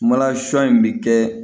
Malasun in bɛ kɛ